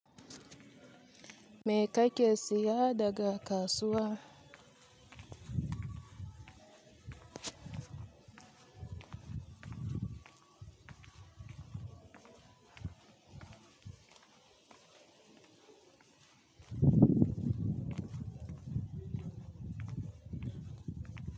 Me ka ke siyada ga kasuwa?